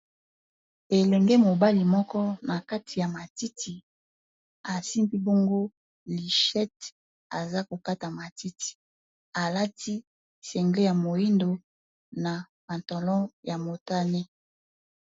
elenge mobali moko na kati ya matiti asimbi bongo lishete aza kokata matiti alati sengle ya moindo na pantalon ya motane.